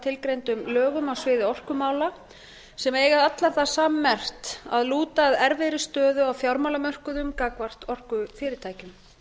tilgreindum lögum á sviði orkumála sem eiga allar það sammerkt að lúta að erfiðri stöðu á fjármálamörkuðum gagnvart orkufyrirtækjum